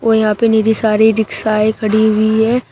औ यहां पे निरी सारी रिक्शाये खड़ी हुई हैं।